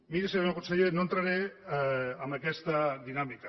miri senyor conseller no entraré en aquesta dinàmica